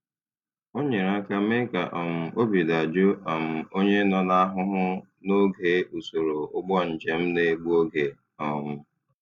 O nyere aka mee ka um obi dajụọ um onye nọ n'ahụhụ n'oge usoro ụgbọ njem na-egbu oge. um